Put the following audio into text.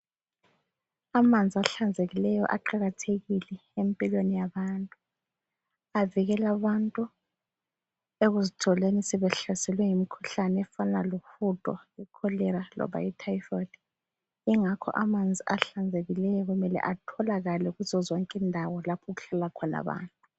Amanzi ahlanzekileyo aqakathekile empilweni yabantu. Avikela abantu ekuzitholeni sebehlaselwe yimkhuhlane efana lohudo, icholera loba ityphoid. Ingakho amanzi ahlanzekileyo kumele atholakale kuzozonke ndawo lapho okuhlala khona abantu.